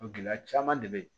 Gɛlɛya caman de bɛ ye